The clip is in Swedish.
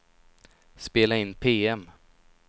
spela in PM